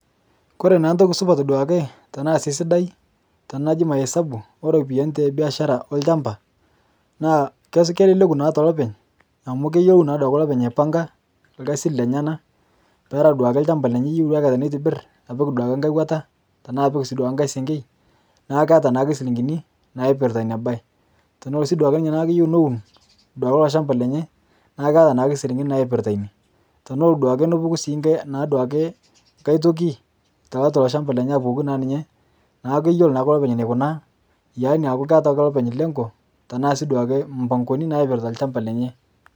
Kore naa ntoki supat duake tanaa sii sidai, tinilo ajing' hesabu eropiyanii tebiashara olchampa naa keleleku naa telopeny amu keyelou naa duake lopeny aipang'a lkazin lenyanaa peara duake lchampa lenyee eyeu aikataa neitibir apik duake ng'hai wataa tanaa sii apik duake ng'hai senkei naaku keataa naaduo silinkinii naipiritaa inia bai teneloo sii duake ninyee naaku keyeu nowun duake iloo shampaa lenyee naaku keata naake silinkini naipirita inie tenelo naa sii duake nopuku ng'hai tokii taatua ilo shampa lenyee apukokii naa ninyee naaku keyoloo naake lopeny neikunaa yani aaku keata ake lopeny lengo tanaa sii duake mpang'oni naipirita lshampa lenyee.